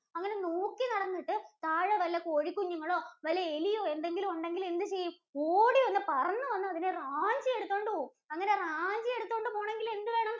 അങ്ങിനെ നോക്കി നടന്നിട്ട് താഴെ വല്ല കോഴികുഞ്ഞുങ്ങളോ, വല്ല എലിയോ എന്തെങ്കിലും ഉണ്ടെങ്കില്‍ എന്തു ചെയ്യും? ഓടി വന്ന്, പറന്ന് വന്ന് അതിനെ റാഞ്ചി എടുത്തോണ്ട് പോവും, അങ്ങനെ റാഞ്ചി എടുതോണ്ട് പൊണെങ്കില്‍ എന്തുവേണം